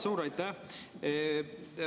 Suur aitäh!